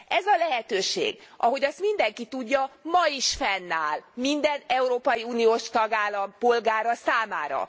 Ez a lehetőség, ahogy azt mindenki tudja, ma is fennáll minden európai uniós tagállam polgára számára.